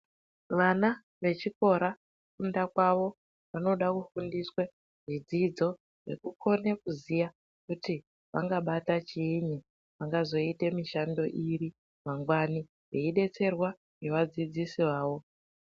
Vana vechikora kufunda kwawo vanoda kufundiswa zvidzidzo vakone kuziva kuti vachabata kudini vangazoita mishando it veida kudetserwa ngevadzidzisi vavo